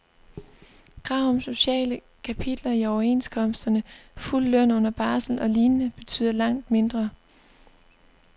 Krav om sociale kapitler i overenskomsterne, fuld løn under barsel og lignende betyder langt mindre.